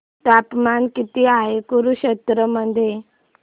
तापमान किती आहे कुरुक्षेत्र मध्ये